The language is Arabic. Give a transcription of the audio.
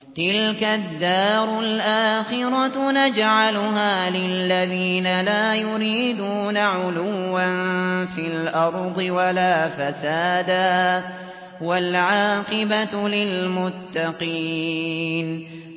تِلْكَ الدَّارُ الْآخِرَةُ نَجْعَلُهَا لِلَّذِينَ لَا يُرِيدُونَ عُلُوًّا فِي الْأَرْضِ وَلَا فَسَادًا ۚ وَالْعَاقِبَةُ لِلْمُتَّقِينَ